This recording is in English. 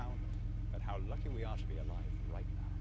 look around at how lucky we are to be alive right now.